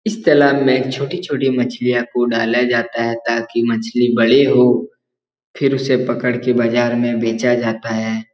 इस तालाब में छोटी-छोटी मछलियां को डाला जाता है ताकि मछली बड़े हो फिर उसे पकड़ के बाज़ार में बेचा जाता है।